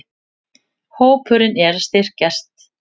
Hópurinn er að styrkjast.